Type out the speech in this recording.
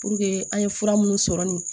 Puruke an ye fura minnu sɔrɔ nin